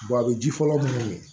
a bɛ ji fɔlɔ mun ye